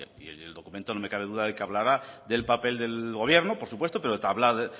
y el documento no me cabe duda de que hablará del papel del gobierno por supuesto pero hablará